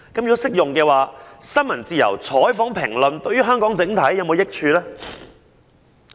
如適用的話，新聞及採訪自由及評論自由對香港整體是否有益處？